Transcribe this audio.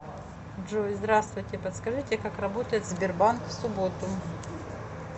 джой здравствуйте подскажите как работает сбербанк в субботу